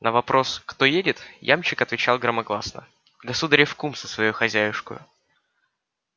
на вопрос кто едет ямщик отвечал громогласно государев кум со своею хозяюшкою